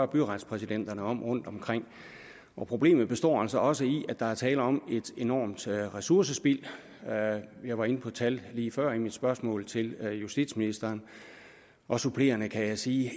byretspræsidenterne om rundtomkring og problemet består altså også i at der er tale om et enormt ressourcespild jeg var inde på tal lige før i mit spørgsmål til justitsministeren og supplerende kan jeg sige